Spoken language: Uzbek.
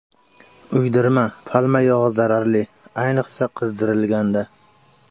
Uydirma: palma yog‘i zararli, ayniqsa qizdirilganda.